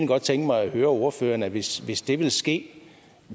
godt tænke mig at høre ordføreren hvis hvis det ville ske